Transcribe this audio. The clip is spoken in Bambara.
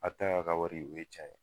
A ta y'a ka wari ye,o ye cɛn ye